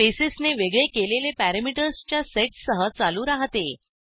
स्पेसेसने वेगळे केलेले पॅरामीटर्सच्या सेट सह चालू राहते